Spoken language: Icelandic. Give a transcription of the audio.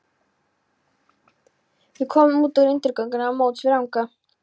Við komum út úr undirgöngunum á móts við Rangá.